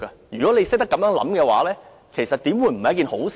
如果懂得這樣理解的話，為何不是一件好事呢？